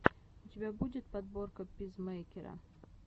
у тебя будет подборка пизмэйкера